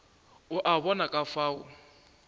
o a bona ka fao